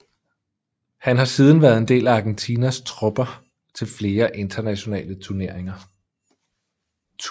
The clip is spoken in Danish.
Han har siden været del af Argentinas trupper til flere internationale tuneringer